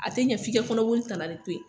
A te ɲɛ f'i ka kɔnɔboli tana de to yen.